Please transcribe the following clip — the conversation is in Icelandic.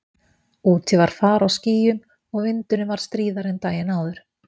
Úti var far á skýjum og vindurinn var stríðari en daginn áður.